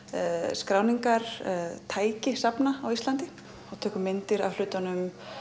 skráningartæki safna Íslandi við tökum myndir af hlutunum